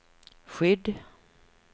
skydd